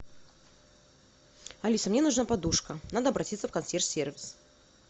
алиса мне нужна подушка надо обратиться в консьерж сервис